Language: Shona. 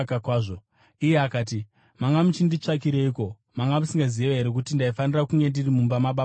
Iye akati, “Manga muchinditsvakireiko? Manga musingazivi here kuti ndaifanira kunge ndiri mumba mababa vangu?”